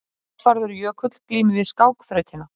Játvarður Jökull glímir við skákþrautina.